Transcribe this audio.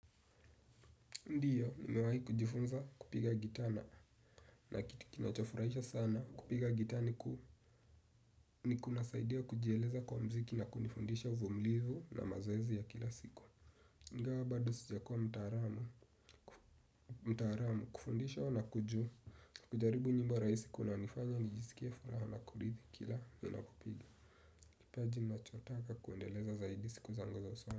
Ndiyo, nimewahi kujifunza kupiga gitaa na na kitu kinacho furahisha sana kupiga gita ni ku ni kunasaidia kujieleza kwa mziki na kunifundisha uvumilivu na mazoezi ya kila siku. Ingawa bado sijakuwa mtaalamu, mtaalamu kufundishwa na kuju kujaribu nyimbo rahisi kunanifanya nijisikie furaha na kuridhika kila ninapopiga. Kipaji nachotaka kuendeleza zaidi siku zango za usoni.